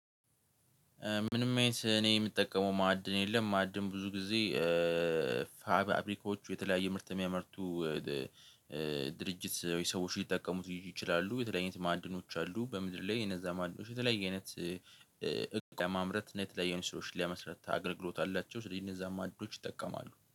ምንም አይነት እኔ የምጠቀመው ማዕድን የለም ማዕድን ብዙ ጊዜ። ፋብሪካዎቹ የተለያየ ምርት የሚያመርቱ። ድርጅት ወይ ሰዎች ሊጠቀሙት ይችላሉ። የተለያየ ማዕድኖች አሉ በምድር ላይ የነዛ ማዶች የተለያየ አይነት። እቃ ለማምረት የተለያየ ስራዎችን ሊያመስርታ አገልግሎት አላቸው። ስለዚህ የነዛ እነዛን አዲሶች ይጠቀማሉ